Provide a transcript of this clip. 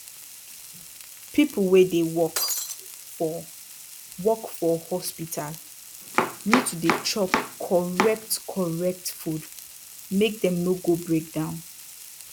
pipu wey dey work for work for hospital need to dey chop correct correct food make dem no go break down